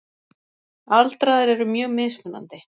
Aldraðir eru mjög mismunandi.